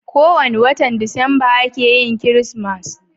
ko wani watan disamba a ke yin kirismas